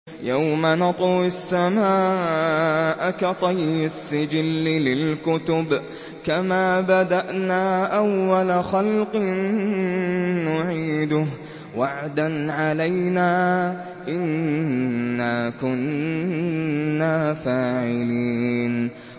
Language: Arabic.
يَوْمَ نَطْوِي السَّمَاءَ كَطَيِّ السِّجِلِّ لِلْكُتُبِ ۚ كَمَا بَدَأْنَا أَوَّلَ خَلْقٍ نُّعِيدُهُ ۚ وَعْدًا عَلَيْنَا ۚ إِنَّا كُنَّا فَاعِلِينَ